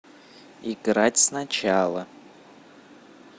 играть сначала